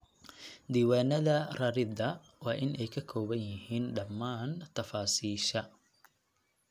Diiwaanada rarida waa in ay ka kooban yihiin dhammaan tafaasiisha.